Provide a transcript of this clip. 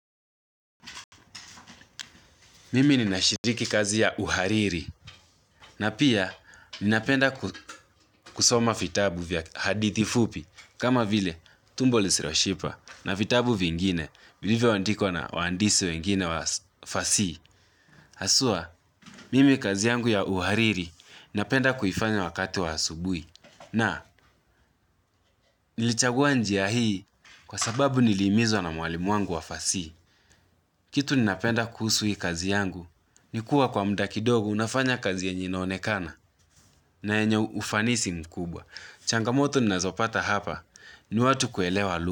Mimi nina shiriki kazi ya uhariri na pia ninapenda kusoma fitabu vya hadithi fupi kama vile tumboli siroshiba na fitabu vingine vilivyo andikwa na waandisi wengine wafasii. Haswaa, mimi kazi yangu ya uhariri napenda kuifanya wakati wa asubui. Na nilichagua njia hii kwa sababu nili imizwa na mwalimu wangu wa fasii. Kitu ninapenda kuhusu hii kazi yangu, nikuwa kwa mda ki dogo unafanya kazi yenye inaonekana na yenye ufanisi mkubwa. Changamoto ninazopata hapa, ni watu kuelewa lu.